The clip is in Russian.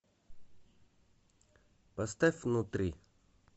поставь внутри